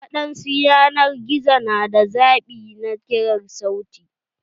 Waɗansu yanar gizo na da zaɓi na kirar sauti.